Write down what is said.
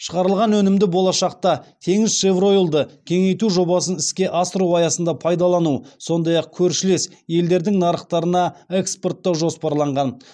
шығарылған өнімді болашақта теңізшевроил ды кеңейту жобасын іске асыру аясында пайдалану сондай ақ көршілес елдердің нарықтарына экспорттау жоспарланған